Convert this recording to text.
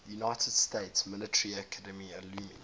united states military academy alumni